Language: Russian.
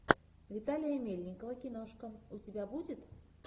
виталия мельникова киношка у тебя будет